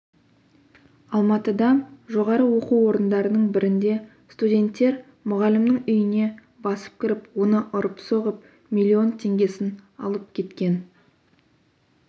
алматыда жоғары оқу орындарының бірінде студенттер мұғалімнің үйіне басып кіріп оны ұрып-соғып миллион теңгесін алып кеткен